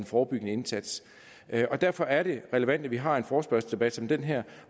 forebyggende indsats derfor er det relevant at vi har en forespørgselsdebat som den her